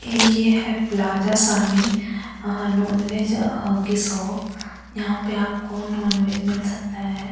ये है प्लाजा सानी नॉन वेज की शॉप यहां पे आपको नॉन वेज मिल सकता है।